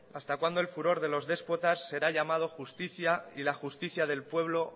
hasta cuándo el furor de los déspotas será llamado justica y la justicia del pueblo